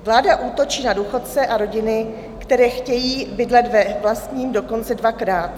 Vláda útočí na důchodce a rodiny, které chtějí bydlet ve vlastním, dokonce dvakrát.